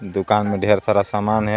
दुकान में ढेर सारा सामान है।